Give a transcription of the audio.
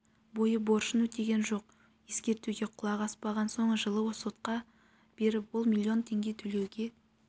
бойы борышын өтеген жоқ ескертуге құлақ аспаған соң жылы сотқа беріп ол миллион тенге төлеуге